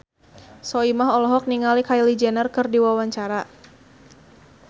Soimah olohok ningali Kylie Jenner keur diwawancara